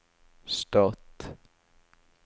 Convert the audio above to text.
stat